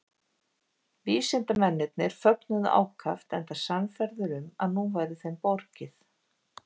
Vísindamennirnir fögnuðu ákaft enda sannfærðir um að nú væri þeim borgið.